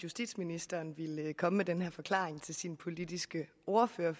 justitsministeren ville komme med den her forklaring til sit partis politiske ordfører